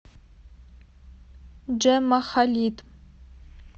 джемма халид